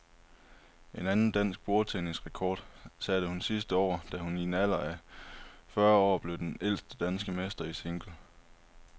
En anden dansk bordtennisrekord satte hun sidste år, da hun i en alder af en og fyrre år blev den ældste danske mester i single.